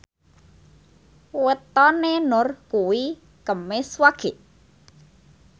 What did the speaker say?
wetone Nur kuwi Kemis Wage